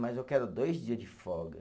Mas eu quero dois dia de folga.